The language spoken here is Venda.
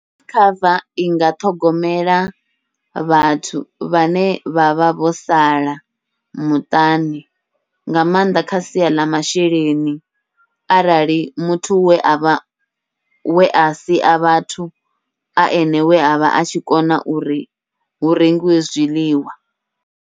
Life cover inga ṱhogomela vhathu vhane vha vha vho sala muṱani, nga maanḓa kha sia ḽa masheleni arali muthu we avha wea sia vhathu a ene we avha a tshi kona uri hu rengiwe zwiḽiwa.